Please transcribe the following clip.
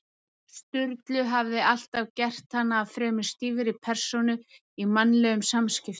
Sturlu hafði alltaf gert hana að fremur stífri persónu í mannlegum samskiptum.